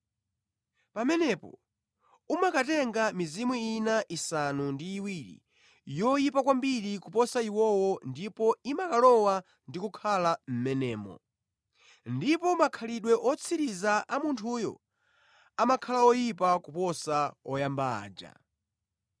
Pamenepo umakatenga mizimu ina isanu ndi iwiri yoyipa kwambiri kuposa iwowo ndipo imakalowa ndi kukhala mʼmenemo. Ndipo makhalidwe otsiriza a munthuyo amakhala oyipa kuposa oyamba aja.”